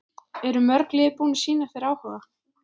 Eru mörg lið búin að sýna þér áhuga?